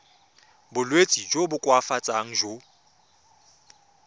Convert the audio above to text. bolwetsi jo bo koafatsang jo